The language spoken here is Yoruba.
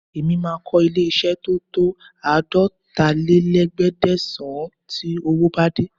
Mo máa kọ́ ilé-iṣẹ́ tó tó àádọ́talé-léẹ̀ẹ́dẹ́gbẹ̀sán tí owó bá dé